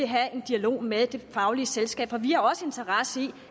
have en dialog med det faglige selskab for vi har også en interesse i